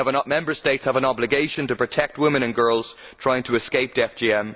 Member States have an obligation to protect women and girls trying to escape FGM.